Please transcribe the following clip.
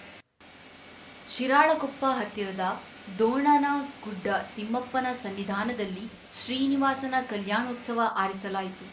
ಶಿರಾಳಕೊಪ್ಪ ಹತ್ತಿರದ ದೋಣನಗುಡ್ಡ ತಿಮ್ಮಪ್ಪನ ಸನ್ನಿಧಾನದಲ್ಲಿ ಶ್ರೀನಿವಾಸನ ಕಲ್ಯಾಣೋತ್ಸವ ಆರಿಸಲಾಯಿತು